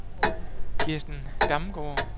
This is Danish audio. Kirsten Damgaard